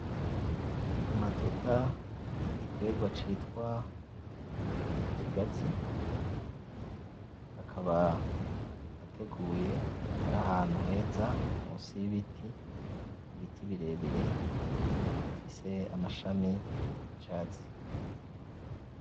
Amatuta y'igitegwa citwa ikigazi, akaba ateguye ari ahantu heza munsi y'ibiti, ibiti birebire bifise amashami y'icatsi.